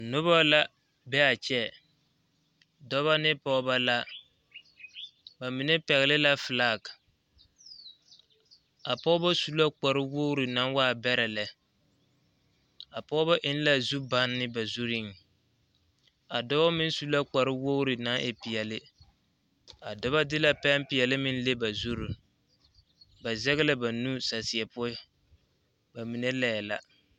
Noba la be a kyɛ dɔba ne pɔgeba la ba mine pɛgle la filagi a pɔgeba su la kparewogri naŋ waa bɛrɛ lɛ a pɔgeba eŋ la zubanne ba zuriŋ a dɔɔ meŋ su la kparewogri naŋ e peɛle a dɔba de la pɛmpeɛle meŋ le ba zuri ba zɛge la ba nu saseɛ poɔ ba mine laɛ la.